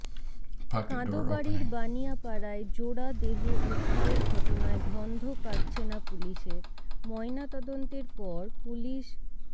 কাঁদোবাড়ির বানিয়াপাড়ায় জোড়া দেহ উদ্ধারের ঘটনায় ধন্ধ কাটছে না পুলিশের ময়নাতদন্তের পর পুলিশ